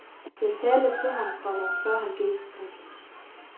Jeg talte til ham, komma før han gik. punktum